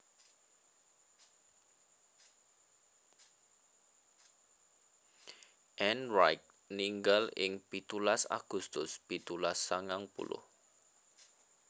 Ann Wright ninggal ing pitulas Agustus pitulas sangang puluh